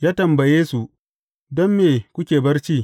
Ya tambaye su, Don me kuke barci?